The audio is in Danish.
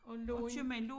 Og Lund